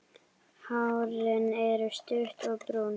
Hárin er stutt og brún.